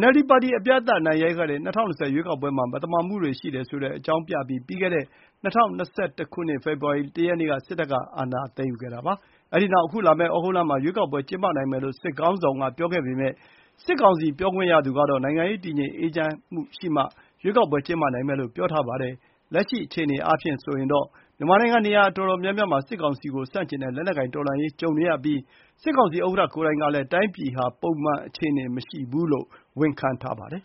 NLD ပါတီအပြတ်အသတ်အနိုင်ရခဲ့တဲ့ ၂၀၂၀ ရွေးကောက်ပွဲမှာ မဲမသမာမှုတွေရှိတယ်ဆိုတဲ့ အကြောင်းပြပြီး၊ ပြီးခဲ့တဲ့ ၂၀၂၁ ခုနှစ် ဖေဖော်ဝါရီလ ၁ ရက်နေ့ စစ်တပ်က အာဏာသိမ်းယူခဲ့တာပါ။ အဲဒီနောက် အခုလာမယ့် ဩဂုတ်လမှာ ရွေးကောက်ပွဲကျင်းပနိုင်မယ်လို့ စစ်ခေါင်းဆောင်က ပြောခဲ့ပေမယ့်၊ စစ်ကောင်စီပြောခွင့်ရသူကတော့ နိုင်ငံရေးတည်ငြိမ်အေးချမ်းမှုရမှ ရွေးကောက်ပွဲကျင်းပနိုင်မယ်လို့ ပြောထားပါတယ်။ လက်ရှိအားဖြင့်တော့ မြန်မာနိုင်ငံ နေရာအတော်များများမှာ စစ်ကောင်စီကိုဆန့်ကျင်တဲ့ လက်နက်ကိုင်တော်လှန်မှုတွေ ကြုံနေရပြီး၊ စစ်ကောင်စီဥက္ကဌကိုယ်တိုင်ကလည်း တိုင်းပြည်ဟာ ပုံမှန်အခြေအနေမရှိဘူးလို့ ဝန်ခံထားပါတယ်